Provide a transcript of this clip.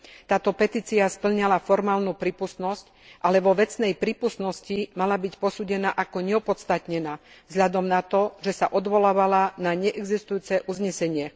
Táto petícia spĺňala formálnu prípustnosť, ale vo vecnej prípustnosti mala byť posúdená ako neopodstatnená vzhľadom na to, že sa odvolávala na neexistujúce uznesenie.